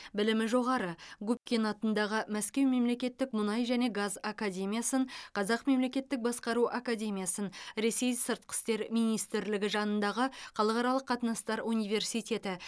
білімі жоғары и губкин атындағы мәскеу мемлекеттік мұнай және газ академиясын қазақ мемлекеттік басқару академиясын ресей сыртқы істер министрлігі жанындағы халықаралық қатынастар университеті